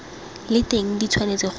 le teng di tshwanetse go